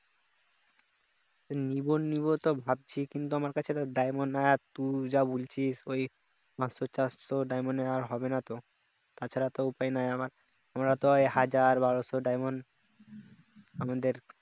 নিবো নিব তো ভাবছি কিন্তু আমার কাছে তো diamond নাই আর তুই যা বলছিস ওই পাঁচশো চারশো আর diamond এ আর হবে না তো তা ছাড়া তো উপায় নাই আমরা তো ওই হাজার বারস diamond আমাদের